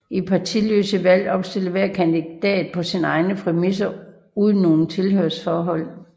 I partiløse valg opstiller hver kandidat på sine egner præmisser uden noget tilhørsforhold